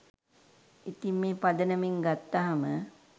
ඉතිං මේ පදනමෙන් ගත්තාම